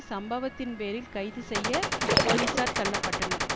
சம்பவத்தின் பேரில் கைது செய்ய போலிசார் தள்ள பட்டனர்